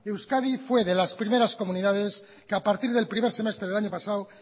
euskadi fue de las primeras comunidades que a partir del primer semestre del año pasado